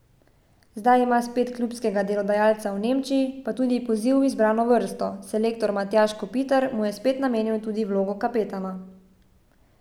Zdaj ima spet klubskega delodajalca v Nemčiji, pa tudi poziv v izbrano vrsto, selektor Matjaž Kopitar mu je spet namenil tudi vlogo kapetana.